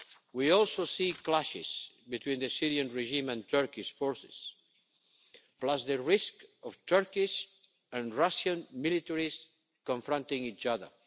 We also see clashes between the Syrian regime and Turkish forces, plus the risk of Turkish and Russian militaries confronting each other.